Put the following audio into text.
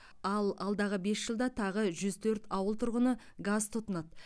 ал алдағы бес жылда тағы жүз төрт ауыл тұрғыны газ тұтынады